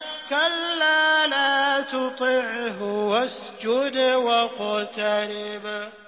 كَلَّا لَا تُطِعْهُ وَاسْجُدْ وَاقْتَرِب ۩